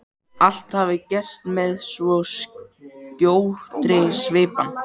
Allt hafi gerst með svo skjótri svipan.